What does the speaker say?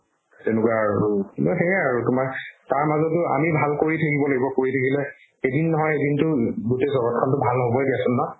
তেনেকুৱা আৰু কিন্তু সেই আৰু তুমাৰ তাৰ মাজত আমি ভাল কৰি থাকিব লাগিব কৰি থাকিলে এদিন নহয় এদিনতো গুতেই জগতখন ভাল হ'বৈ দিয়াছোন ন